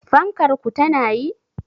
Fankar ku tana yi?